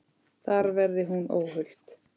Þar verði hún óhult.